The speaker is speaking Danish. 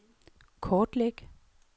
kortlæg